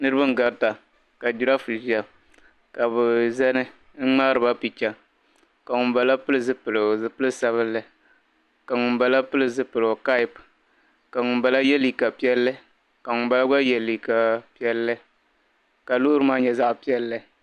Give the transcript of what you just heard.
Niriba n-garita ka jiraafu ʒia ka bɛ zani n-ŋmaari ba picha ka ŋumbala pili zipil' sabilinli ka ŋumbala pili zipiligu kapu ka ŋumbala ye liika piɛlli ka ŋumbala gba ye liika piɛlli ka loori maa nyɛ zaɣ' piɛlli.